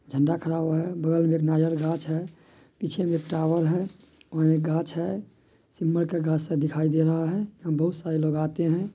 झंडा खड़ा हुआ है। बगल में एक नारियल का गाछ है। पीछे में एक टावर है। वहां एक गाछ है। सिमर का गाछ-सा दिखाई दे रहा है। यहाँ बहुत सारे लोग आते हैं।